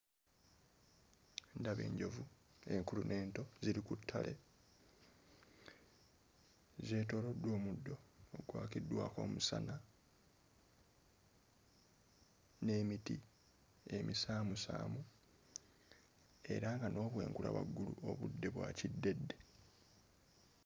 Ndaba enjovu enkulu n'ento ziri ku ttale zeetooloddwa omuddo ogwakiddwako omusana n'emiti emisaamusaamu era nga n'obwengula waggulu obudde bwa kiddedde.